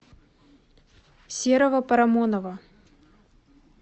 серого парамонова